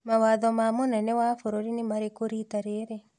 Mawatho ma mũnene wa bũrũri nĩ marĩkũ rita rĩrĩ?